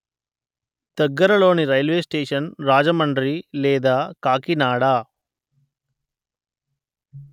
దగ్గరలోని రైలు స్టేషన్ రాజమండ్రి లేదా కాకినాడ